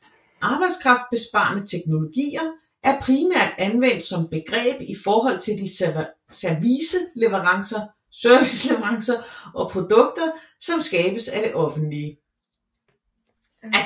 Arbejdskraftbesparende teknologier er primært anvendt som begreb i forhold til de serviceleverancer og produkter som skabes af det offentlige